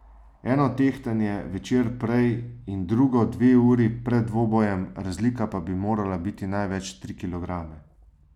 Eno tehtanje večer prej in drugo dve uri pred dvobojem, razlika pa bi morala biti največ tri kilograme.